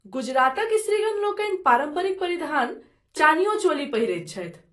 गुजरातक स्त्रीगण लोकनि पारम्परिक परिधान चानियो चोली पहिरैत छथि।